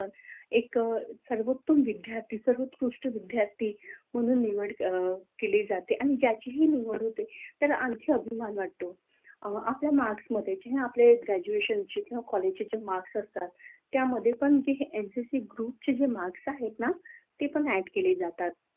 केले जाते आणि त्याची निवड होते त्याला आणखी अभिमान वाटतो, अस आपल्या मार्क्स मध्ये जेव्हा आपल्या ग्रॅज्युएशनचे कॉलेजचे जे मार्क असतात त्यामध्ये जे एमपीएससी ग्रुपचे मार्क आहेत ना ते पण ॲड केले जातात.